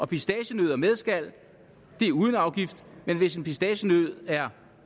pistacienødder med skal er uden afgift men hvis en pistacienød er